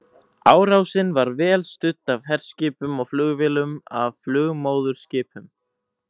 Árásin var vel studd af herskipum og flugvélum af flugmóðurskipum.